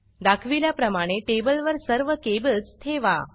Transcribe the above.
दाखविल्याप्रमाणे टेबल वर सर्व केबल्स ठेवा